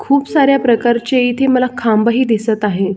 खूप साऱ्या प्रकारचे इथे मला खांब ही दिसत आहे.